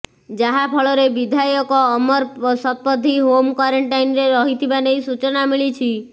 ଯାହା ଫଳରେ ବିଧାୟକ ଅମର ଶତପଥୀ ହୋମ୍ କ୍ବାରେଣ୍ଟାଇନ୍ରେ ରହିଥିବା ନେଇ ସୂଚନା ମିଳିଛି